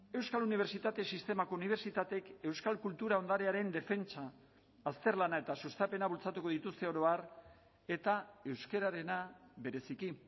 euskal unibertsitate sistemako unibertsitateek euskal kultura ondarearen defentsa azterlana eta sustapena bultzatuko dituzte oro har eta euskararena bereziki